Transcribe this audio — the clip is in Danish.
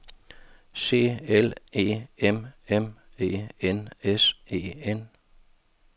C L E M M E N S E N